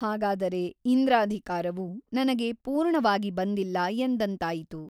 ಹಾಗಾದರೆ ಇಂದ್ರಾಧಿಕಾರವು ನನಗೆ ಪೂರ್ಣವಾಗಿ ಬಂದಿಲ್ಲ ಎಂದಂತಾಯಿತು.